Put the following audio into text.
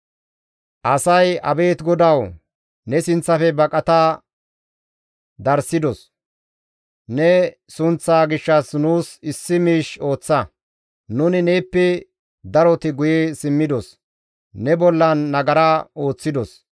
Asay, «Abeet GODAWU! ne sinththafe baqata darssidos; ne sunththaa gishshas nuus issi miish ooththa; nuni neeppe daroti guye simmidos; ne bollan nagara ooththidos.